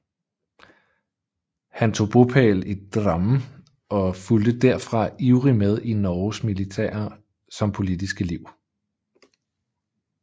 Han tog bopæl i Drammen og fulgte herfra ivrig med i Norges militære som politiske liv